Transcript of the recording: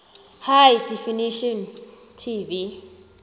high definition tv